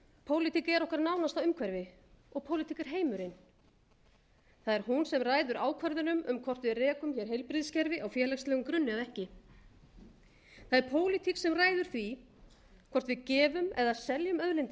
pólitík er okkar nánasta umhverfi og pólitík er heimurinn það er hún sem ræður ákvörðunum um hvort við rekum hér heilbrigðiskerfi á félagslegum grunni eða ekki það er pólitík sem ræður hvort við gefum eða seljum auðlindir